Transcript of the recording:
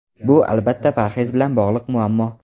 Bu, albatta, parhez bilan bog‘liq muammo.